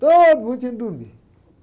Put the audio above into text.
Todo mundo tinha que dormir.